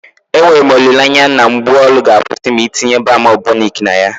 Enwere m olile anya na mgbu olu ga-akwụsị ma ị tinye balm Aboniki na ya.